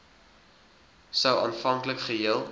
sou aanvanklik geheel